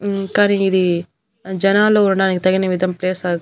ఉమ్ కానీ ఇది జనాలు ఉండడానికి తగినవిదం ప్లేస్ ఆ.